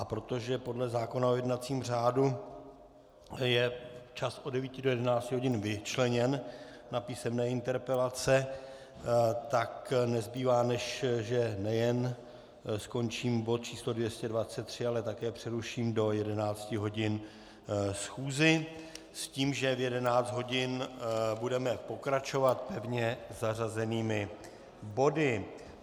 A protože podle zákona o jednacím řádu je čas od 9 do 11 hodin vyčleněn na písemné interpelace, tak nezbývá, než že nejen skončím bod číslo 223, ale také přeruším do 11 hodin schůzi s tím, že v 11 hodin budeme pokračovat pevně zařazenými body.